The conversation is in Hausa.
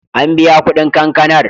An biya kuɗin kankanar.